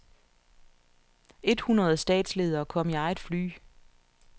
Et hundrede statsledere kom i eget fly.